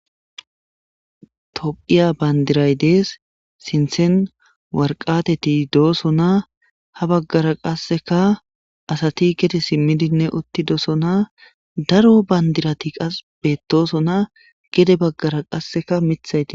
Tophiya bandiray dees sinthen warqateti dooso na ha baggara qasseka asati gete simmidinne utti doosonaa daro bandirati qas bettooso naa gede baggara qasseka mithayti.